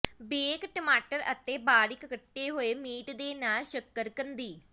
bake ਟਮਾਟਰ ਅਤੇ ਬਾਰੀਕ ਕੱਟੇ ਹੋਏ ਮੀਟ ਦੇ ਨਾਲ ਸ਼ੱਕਰਕੰਦੀ